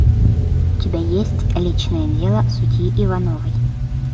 у тебя есть личное дело судьи ивановой